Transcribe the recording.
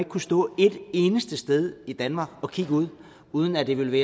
kunne stå et eneste sted i danmark og kigge ud uden at det ville